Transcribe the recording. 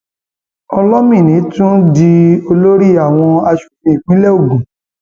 olomini tún di olórí àwọn asòfin ìpínlẹ ogun